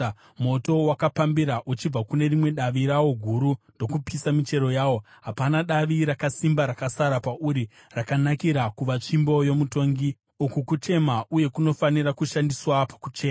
Moto wakapambira uchibva kune rimwe davi rawo guru ndokupisa michero yawo. Hapana davi rakasimba rakasara pauri rakanakira kuva tsvimbo yomutongi.’ Uku kuchema uye kunofanira kushandiswa pakuchema.”